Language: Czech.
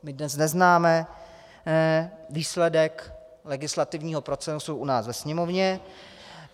My dnes neznáme výsledek legislativního procesu u nás ve Sněmovně.